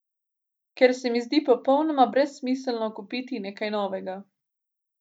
Ker se mi zdi popolnoma brezsmiselno kupiti nekaj novega.